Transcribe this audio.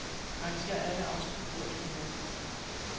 Arrangér alle autofigurer i dokumentet.